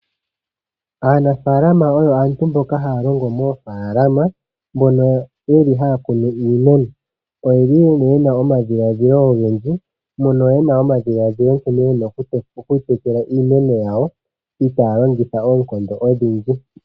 Aanafaalama oyo aantu mboka ha ya longo mo faalama, m9no ye li ha ya kunu iimeno. Oye li yena omadhiladhilo, ogendji, mono yena omadhiladhilo nkene yena oku tekela iimeno yawo, ita ya longitha oonkondo odhindji.